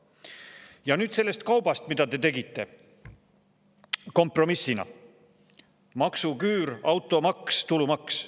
Ja nüüd sellest kaubast, mida te tegite kompromissina: maksuküür, automaks, tulumaks.